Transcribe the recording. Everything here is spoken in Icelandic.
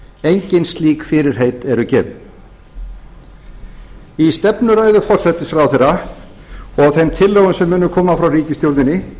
engin slík fyrirheit eru gefin í stefnuræðu forsætisráðherra og þeim tillögum sem munu koma frá ríkisstjórninni